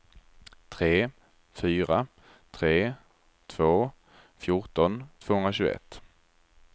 tre fyra tre två fjorton tvåhundratjugoett